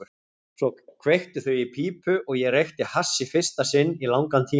Svo kveiktu þau í pípu og ég reykti hass í fyrsta sinn í langan tíma.